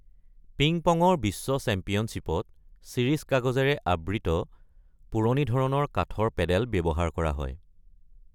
Ping পঙৰ বিশ্ব চেম্পিয়নশ্বিপত চিৰিচ-কাগজেৰে আবৃত পুৰণি ধৰণৰ কাঠৰ পেডেল ব্যৱহাৰ কৰা হয়।